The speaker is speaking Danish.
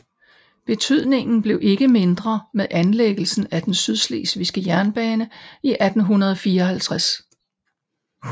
Betydningen bliver ikke mindre med anlægelsen af den Sydslesvigske Jernbane i 1854